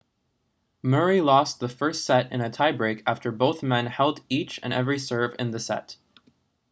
murray lost the first set in a tie break after both men held each and every serve in the set